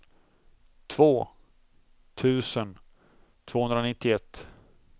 två tusen tvåhundranittioett